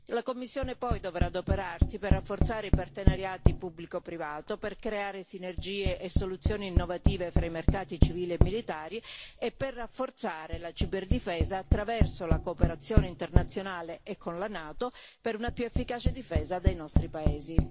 La Commissione poi dovrà adoperarsi per rafforzare i partenariati pubblico privato, per creare sinergie e soluzioni innovative fra i mercati civili e militari e per rafforzare la ciberdifesa attraverso la cooperazione internazionale e con la NATO per una più efficace difesa dai nostri paesi.